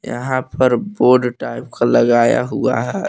यह पर board type का लगाया हुआ है।